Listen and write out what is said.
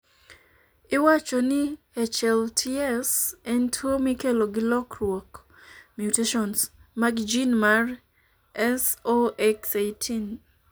Iwacho ni HLTS en tuwo mikelo gi lokruok (mutations) mag gene mar SOX18.